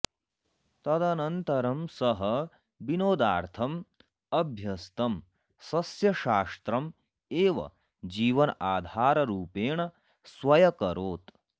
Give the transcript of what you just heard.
तदनन्तरं सः विनोदार्थम् अभ्यस्तं सस्यशास्त्रम् एव जीवनाधाररूपेण स्व्यकरोत्